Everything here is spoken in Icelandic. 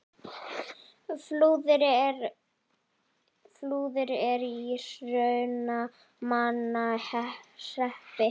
Flúðir er í Hrunamannahreppi.